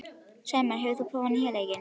Sæmar, hefur þú prófað nýja leikinn?